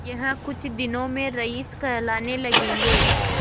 यह कुछ दिनों में रईस कहलाने लगेंगे